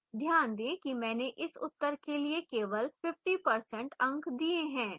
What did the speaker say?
ध्यान दें कि मैंने इस उत्तर के लिए केवल 50% अंक दिए हैं